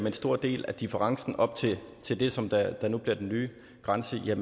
en stor del af differencen op til til det som der nu bliver den nye grænse er